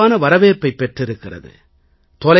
இது வெகுவான வரவேற்பைப் பெற்றிருக்கிறது